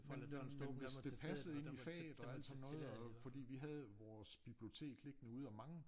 Men men men hvis det passede ind i faget og alt sådan noget og fordi vi havde vores bibliotek liggende ude og mange